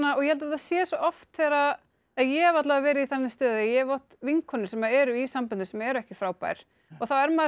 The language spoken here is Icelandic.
ég held að þetta sé svo oft þegar að ég hef alla vega verið í þannig stöðu að ég hef átt vinkonur sem eru í samböndum sem eru ekki frábær og þá er maður svo